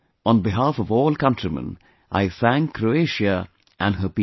On behalf of all countrymen, I thank Croatia and her people